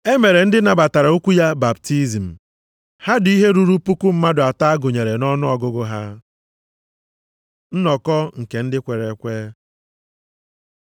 E mere ndị nabatara okwu ya baptizim, ha dị ihe ruru puku mmadụ atọ, a gụnyere nʼọnụọgụgụ ha. Nnọkọ nke ndị kwere ekwe